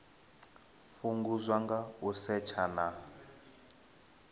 fhungudzwa nga u setsha na